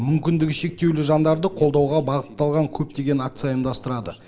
мүмкіндігі шектеулі жандарды қолдауға бағытталған көптеген акция ұйымдастырады